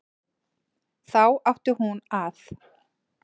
Þá átti hún að